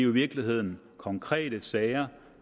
virkeligheden konkrete sager